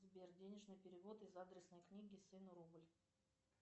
сбер денежные переводы в адресной книге сыну рубль